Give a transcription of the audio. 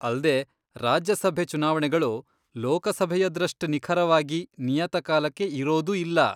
ಅಲ್ದೇ, ರಾಜ್ಯ ಸಭೆ ಚುನಾವಣೆಗಳು ಲೋಕಸಭೆಯದ್ರಷ್ಟ್ ನಿಖರವಾಗಿ ನಿಯತಕಾಲಕ್ಕೆ ಇರೋದೂ ಇಲ್ಲ.